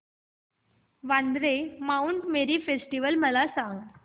Vandre Mount Mary festival मला सांग